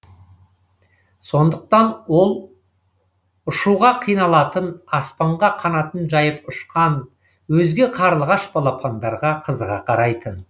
сондықтан ол ұшуға қиналатын аспанға қанатын жайып ұшқан өзге қарлығаш балапандарға қызыға қарайтын